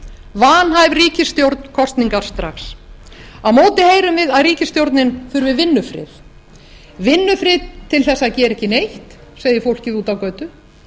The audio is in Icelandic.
vanhæf ríkisstjórn kosningar strax á móti heyrum við að ríkisstjórnin þurfi vinnufrið vinnufrið til að gera ekki neitt segir fólkið úti á götu